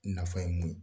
Nafa ye mun ye